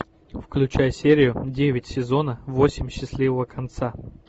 включай серию девять сезона восемь счастливого конца